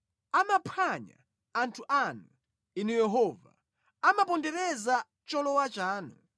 Amaphwanya anthu anu, Inu Yehova; amapondereza cholowa chanu.